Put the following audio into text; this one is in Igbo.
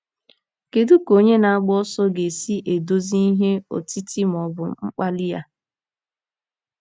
Kedu ka onye na-agba ọsọ ga-esi eduzi ihe otiti ma ọ bụ mkpali ya?